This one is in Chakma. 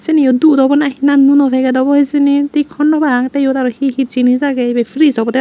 seniyo dud obo na na nuno paget obo hijeni thik honnopang tey yot aro he he jinis agey ibey friz obodey.